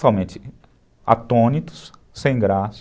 Totalmente atônitos, sem graça.